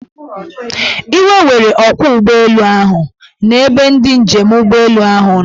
Iwe were ọkwọụgbọelu ahu na ebe ndị njem ụgbọelu ahụ nọ.